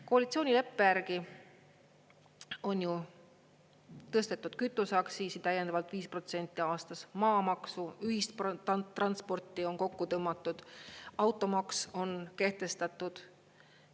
Koalitsioonileppe järgi on ju tõstetud kütuseaktsiisi täiendavalt 5% aastas, maamaksu, ühistransporti on kokku tõmmatud, automaks on kehtestatud.